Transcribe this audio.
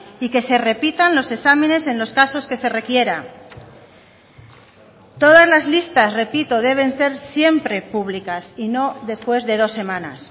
y que se repitan los exámenes en los casos que se requiera todas las listas repito deben ser siempre públicas y no después de dos semanas